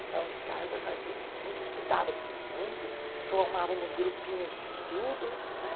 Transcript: Lição de casa fazia-se muito, estudava-se muito, formávamos grupinhos de estudo, não é?